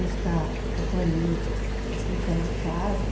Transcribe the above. Buscar companhia, assim, fora de casa.